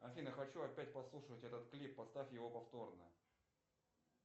афина хочу опять послушать этот клип поставь его повторно